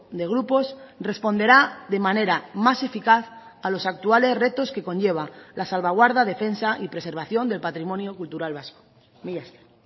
de grupos responderá de manera más eficaz a los actuales retos que conlleva la salvaguarda defensa y preservación del patrimonio cultural vasco mila esker